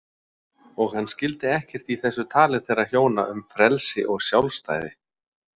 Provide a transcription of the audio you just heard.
Og hann skildi ekkert í þessu tali þeirra hjóna um frelsi og sjálfstæði.